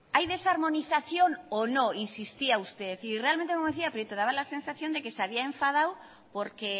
hay desarmonización o no insistía usted y realmente como decía prieto daba la sensación de que se había enfadado porque